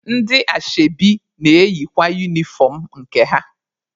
Ndị ashebi na-eyikwa unifọm nke ha.